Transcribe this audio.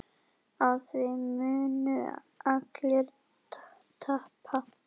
Á því munu allir tapa.